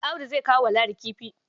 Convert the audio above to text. Audu zai kawo wa Ladi kifi.